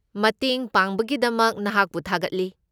ꯃꯇꯦꯡ ꯄꯥꯡꯕꯒꯤꯗꯃꯛ ꯅꯍꯥꯛꯄꯨ ꯊꯥꯒꯠꯂꯤ꯫